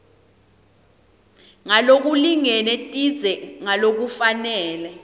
ngalokulingene tindze ngalokufanele